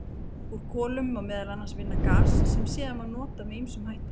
Úr kolum má meðal annars vinna gas sem síðan má nota með ýmsum hætti.